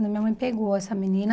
Então, minha mãe pegou essa menina.